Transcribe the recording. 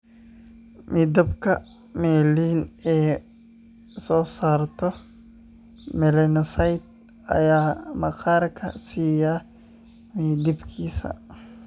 Midabka melanin ee ay soo saarto melanocytes ayaa maqaarka siiya midabkiisa.